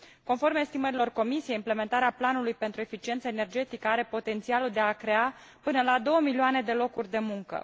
Conform estimărilor Comisiei, implementarea planului pentru eficiență energetică are potențialul de a crea până la două milioane de locuri de muncă.